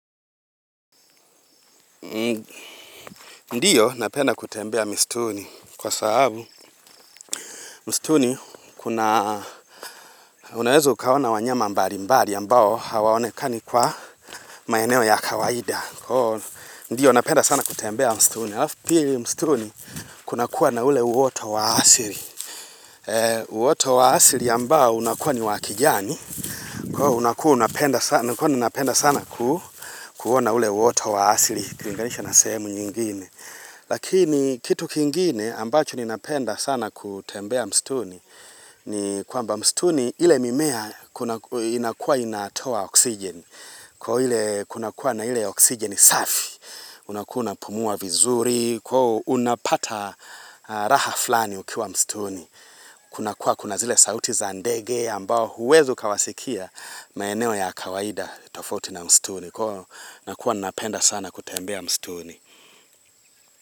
Ndiyo napenda kutembea mistuni kwa sababu mstuni unaweza ukaona wanyama mbalimbali ambao hawaonekani kwa maeneo ya kawaida. Ndiyo napenda sana kutembea mstuni. Alafu pili mstuni kuna kuwa na ule uoto wa asili. Uoto wa asili ambao unakuwa ni wa kijani. Kwa ivo napenda sana kuona ule uoto wa asili. Ikilinganisha na sehemu nyingine. Lakini kitu kingine ambacho ninapenda sana kutembea mstuni ni kwamba mstuni ile mimea inakua inatoa oksijen. Kuna kuwa na hile oksigeni safi, unakuwa unapumua vizuri, unapata raha flani ukiwa mstuni. Kuna kuwa kuna zile sauti za ndege ambao huwezi ukawasikia maeneo ya kawaida tofauti na mstuni. Kwa hio nakuwa ninapenda sana kutembea mstuni.